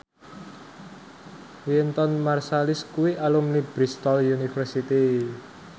Wynton Marsalis kuwi alumni Bristol university